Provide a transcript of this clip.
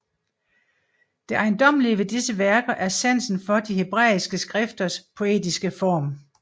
Det ejendommelige ved disse værker er sansen for de hebræiske skrifters poetiske form